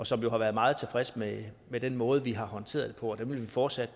som jo har været meget tilfredse med med den måde vi har håndteret det på og dem vil vi fortsat